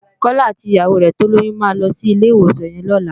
Kola àtí iyàwó rè tólóyùn má lòsí ilé iwósàn yèn lòlá